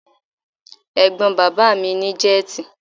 Ẹ̀gbọ́n bàbá mi ní jẹ́tì.